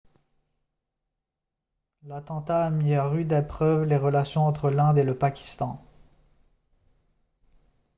l'attentat a mis à rude épreuve les relations entre l'inde et le pakistan